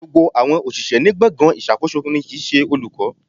Gbogbo àwọn òṣìṣẹ́ ní gbọ̀ngàn ìṣàkóso ni kì ń ṣe olùkọ́.